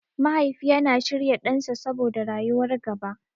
Mahaifi yana shirya ɗansa saboda rayuwar gaba.